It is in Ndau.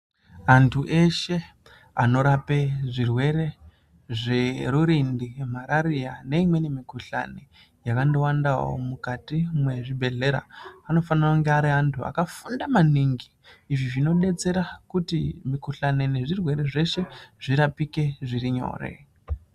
Anthu eshe vanorapa zvirwere zverurindi ,mararia neimweni mukuhlani yakandowanda mukati muzvibhehlera. Vanofanirwa kunge vari vanhu vakafunda maningi zvinodetsera kuti mukuhlani nezvirwere zvese zvirapike zvirinyore.